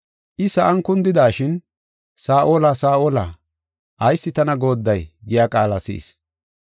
I sa7an kundidashin, “Saa7ola, Saa7ola, ayis tana goodday?” giya qaala si7is.